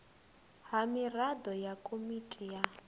ha miraḓo ya komiti ya